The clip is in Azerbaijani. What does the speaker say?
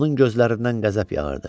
Onun gözlərindən qəzəb yağırdı.